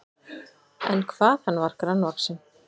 En hvað hann var grannvaxinn!